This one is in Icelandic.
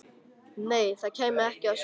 Nei, það kæmi ekki að sök.